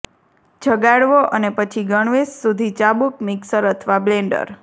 જગાડવો અને પછી ગણવેશ સુધી ચાબુક મિક્સર અથવા બ્લેન્ડર